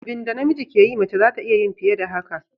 Abinda na miji ke iya yi, mace zata iya yin fiye da haka.